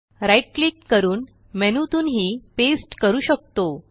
right click करून मेनूतूनही paste करू शकतो